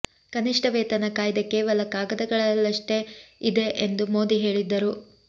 ಕನಿಷ್ಠ ವೇತನ ಕಾಯ್ದೆ ಕೇವಲ ಕಾಗದಗಳಲ್ಲಷ್ಟೇ ಇದೆ ಎಂದು ಮೋದಿ ಹೇಳಿದ್ದರು